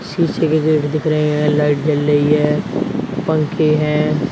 शीशे के गेट दिख रहे है लाइट जल रही है पंखे हैं।